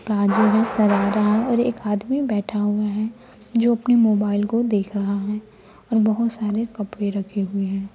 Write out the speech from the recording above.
बाजू में सरारा और एक आदमी बैठा हुआ है जो अपने मोबाइल को देख रहा है और बहोत सारे कपड़े रखे हुए है।